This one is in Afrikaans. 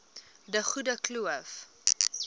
de groene kloof